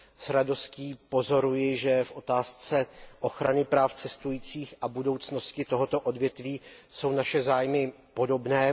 S radostí pozoruji, že v otázce ochrany práv cestujících a budoucnosti tohoto odvětví jsou naše zájmy podobné.